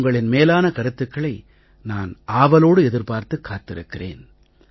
உங்களின் மேலான கருத்துக்களை நான் ஆவலோடு எதிர்பார்த்துக் காத்திருக்கிறேன்